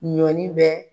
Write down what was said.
Ɲɔni bɛ